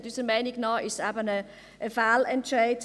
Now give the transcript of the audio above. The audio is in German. Unserer Meinung nach ist es eben ein Fehlentscheid.